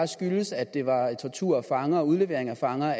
skyldes at det var tortur af fanger og udlevering af fanger